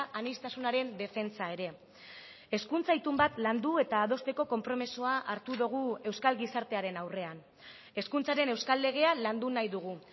aniztasunaren defentsa ere hezkuntza itun bat landu eta adosteko konpromisoa hartu dugu euskal gizartearen aurrean hezkuntzaren euskal legea landu nahi dugu